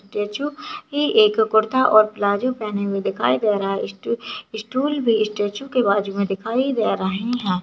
Statue एक कुर्ता और प्लाजो पहने हुए दिखाई दे रहा है स्टू स्टूल भी स्टैचू के बाजू मे दिखाई दे रहे है ।